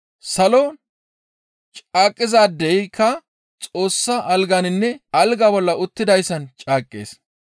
Salon caaqizaadeyka Xoossa alganinne alga bolla uttidayssan caaqqees.